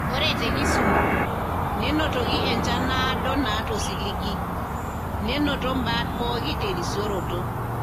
Ore te Kisumu , nenotoki enchan naado naata osiligi, nenoto imbat pooki terisioroto.